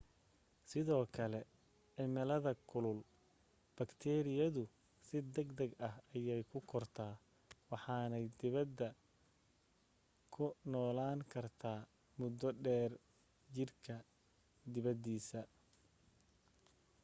sidoo kale cimilooyinka kulul bakteeriyadu si degdeg ah ayay u kortaa waxaanay debedda ku noolaan kartaa muddo dheer jidhka dibaddiisa